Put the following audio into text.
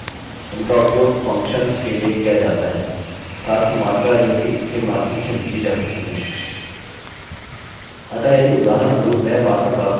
अतः पोस्ट इस प्रकार उपयोगी है लेकिन यदि आप चीजों का मूल्यांकन कर रहे हैं जैसे कि कुछ चीजों को अलग करने की कोशिश आप get वेरिएबल का उपयोग कर सकते हैं